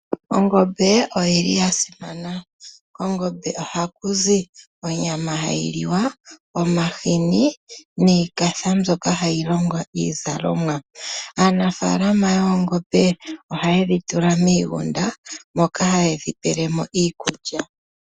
Ongombe oyili yasimana, kongombe ohaku zi onyama hayi liwa , omahini niikatha mbyoka hayi longo iizalomwa. Aanafaalama yoongombe ohaye dhitula miigunda moka haye dhi pele mo iikuya.